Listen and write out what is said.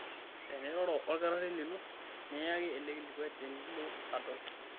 Teniroro olkitarri lino neyaki ele kilikuai tenilo adol.